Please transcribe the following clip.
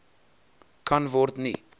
kan word nie